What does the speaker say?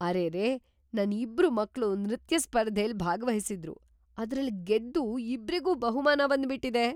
ಅರೆರೇ! ನನ್ ಇಬ್ರು ಮಕ್ಳು ನೃತ್ಯ ಸ್ಪರ್ಧೆಲ್‌ ಭಾಗ್ವಹಿಸಿದ್ರು, ಅದ್ರಲ್‌ ಗೆದ್ದು ಇಬ್ರಿಗೂ ಬಹುಮಾನ ಬಂದ್ಬಿಟಿದೆ!